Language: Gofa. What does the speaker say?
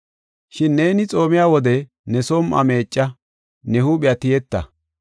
“Shin neeni xoomiya wode ne som7uwa meecca, ne huuphiya tiyetta.